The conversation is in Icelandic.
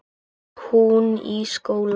Hún í skóla.